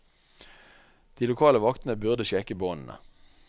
De lokale vaktene burde sjekke båndene.